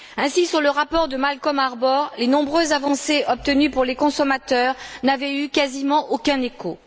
Ainsi, sur le rapport de Malcolm Harbour, les nombreuses avancées obtenues pour les consommateurs n'avaient eu quasiment aucun écho.